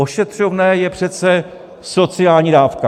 Ošetřovné je přece sociální dávka.